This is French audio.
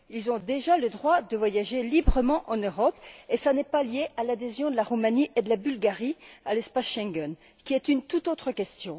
Ils ont déjà le droit de voyager librement en Europe, et cela n'est pas lié à l'adhésion de la Roumanie et de la Bulgarie à l'espace Schengen, qui est une toute autre question.